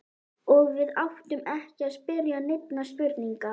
Og við áttum ekki að spyrja neinna spurninga.